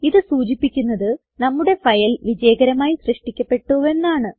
ഇത് സൂചിപ്പിക്കുന്നത് നമ്മുടെ ഫയൽ വിജയകരമായി സൃഷ്ടിക്കപ്പെട്ടുവെന്നാണ്